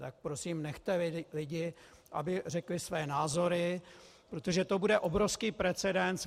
Tak prosím nechte lidi, aby řekli své názory, protože to bude obrovský precedens.